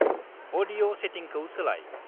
अदिय' सेतिंखौ सोलाय।